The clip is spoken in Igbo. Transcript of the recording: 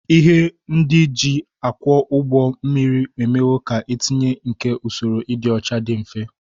Ihe ndị e ji akwọ ụgbọ mmiri emewo ka ntinye nke usoro ịdị ọcha dị mfe